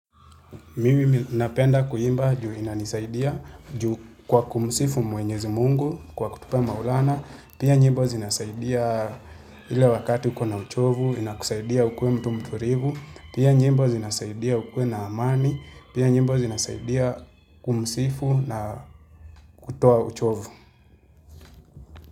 Mimi napenda kuimba juu inanisaidia juu kwa kumsifu mwenyezi mungu kwa kutupa maulana, pia nyimbo zinasaidia ile wakati ukona uchovu, inakusaidia ukuwe mtu mturivu, pia nyimbo zinasaidia ukuwe na amani, pia nyimbo zinasaidia kumsifu na kutoa uchovu.